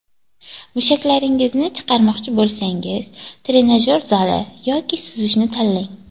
Mushaklaringizni chiqarmoqchi bo‘lsangiz trenajyor zali yoki suzishni tanlang.